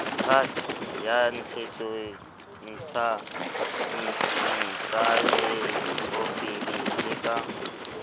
trust ya ntsahetsopele le ka